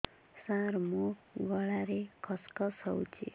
ସାର ମୋ ଗଳାରେ ଖସ ଖସ ହଉଚି